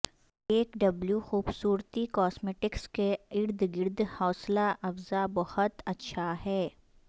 cake W خوبصورتی cosmetics کے ارد گرد حوصلہ افزا بہت اچھا ہے